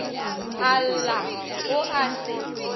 a lla o a se